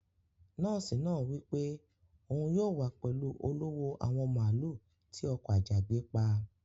Nóòsì náà wípé òun yóò wá pẹlú olówò àwọn màálú tí ọkò ajagbé pà.